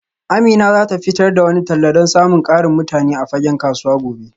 Amina za ta fitar da wani talla don samun ƙarin mutane a fagen kasuwa gobe